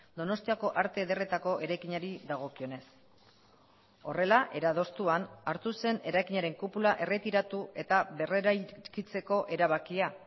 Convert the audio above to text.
donostiako arte ederretako eraikinari dagokionez horrela era adostuan hartu zen eraikinaren kupula erretiratu eta berreraikitzeko erabakia